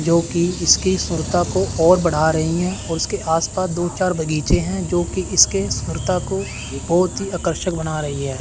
जो कि इसकी सुंदरता को और बड़ा रही हैं और इसके आस पास दो चार बगीचे हैं जो कि इसके सुंदरता को बहुत ही आकर्षक बना रही हैं।